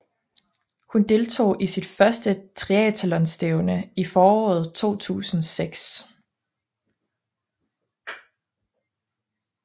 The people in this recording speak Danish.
Hun deltog i sit første triathlonstævne i foråret 2006